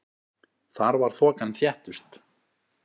Þar var þokan þéttust.